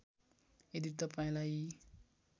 यदि तपाईँंलाई यी